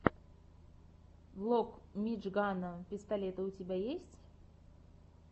влог мижгана пистолета у тебя есть